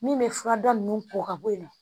Min bɛ furada ninnu ko ka bɔ yen nɔ